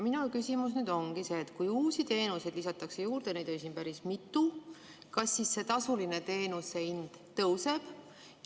Minu küsimus ongi see, et kui uusi teenuseid lisatakse juurde, neid oli siin päris mitu, kas siis tasulise teenuse hind tõuseb.